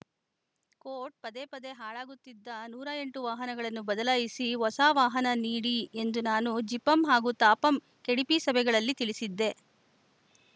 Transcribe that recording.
coat ಪದೇ ಪದೇ ಹಾಳಾಗುತ್ತಿದ್ದ ನೂರ ಎಂಟ ವಾಹನವನ್ನು ಬದಲಾಯಿಸಿ ಹೊಸ ವಾಹನ ನೀಡಿ ಎಂದು ನಾನು ಜಿಪಂ ಹಾಗೂ ತಾಪಂ ಕೆಡಿಪಿ ಸಭೆಗಳಲ್ಲಿ ತಿಳಿಸಿದ್ದೆ